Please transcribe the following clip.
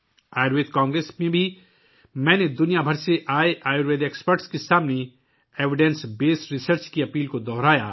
Ayurveda congress میں بھی، میں نے دنیا بھر سے جمع ہوئے آیوروید ماہرین کے سامنے ثبوت پر مبنی تحقیق کی درخواست کو دہرایا